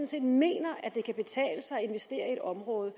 set mener det kan betale sig at investere i et område